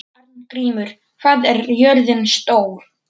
Arngrímur, hvað er jörðin stór?